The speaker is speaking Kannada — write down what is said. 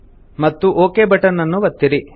ಮತ್ತು ಒಕ್ ಬಟನ್ ನ್ನು ಒತ್ತಿರಿ